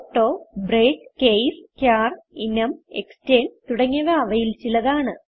auto break case char enum extern തുടങ്ങിയവ അവയിൽ ചിലതാണ്